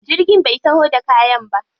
Jirgin bai taho da kayan ba.